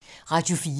Radio 4